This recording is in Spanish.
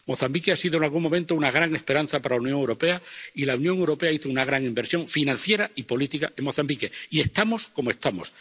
Mozambique ha sido en algún momento una gran esperanza para la Unión Europea, y la Unión Europea hizo una gran inversión financiera y política en Mozambique, y estamos como estamos.